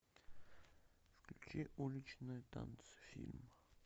включи уличные танцы фильм